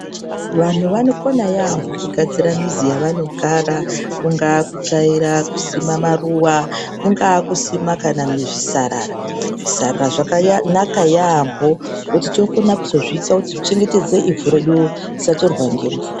Vanhu vanokona yaamho kugadzira mizi yavanogara kungaa mukutsvaira kusima maruwa kungaa kusima kana zvisarara zvisarara zvakanaka yaampo ngekuti tinokone kuzozviita kuti zvichengetedze ivhu redu kuti risatorwa ngemvura.